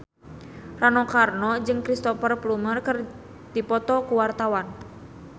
Rano Karno jeung Cristhoper Plumer keur dipoto ku wartawan